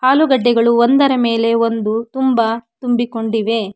ಆಲುಗೆಡ್ಡೆಗಳು ಒಂದರ ಮೇಲೆ ಒಂದು ತುಂಬಾ ತುಂಬಿಕೊಂಡಿವೆ.